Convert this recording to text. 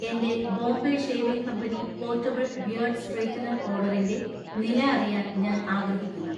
എന്‍റെ Bombay shaving company portable beard straightener ഓർഡറിന്‍റെ നില അറിയാൻ ഞാൻ ആഗ്രഹിക്കുന്നു